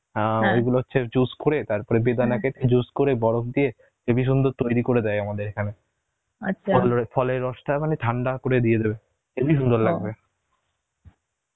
অ্যাঁ হচ্ছে juice করে তারপর juice করে, বরফ দিয়ে হেবি সুন্দর তৈরি করে দেয় আমাদের এখানে, ফলের রসটা মানে ঠান্ডা করে দিয়ে দেবে হেবি সুন্দর